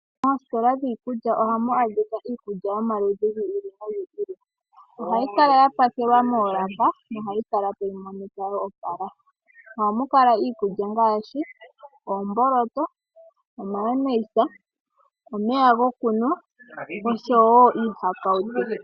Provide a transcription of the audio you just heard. Moositola dhiikulya ohamu adhika omaludhi giikulya yi ili noyi ili. Ohayi kala ya pakelwaoolaka nohayi kala tayi monika yo opala. Ohu kala iikulya ngaashi oomboloto, o.ayonaisa, omeya gokunwa oshowo iihakawutu.